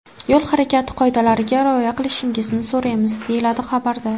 Yo‘l harakati qoidalariga rioya qilishingizni so‘raymiz”, deyiladi xabarda.